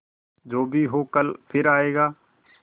जो भी हो कल फिर आएगा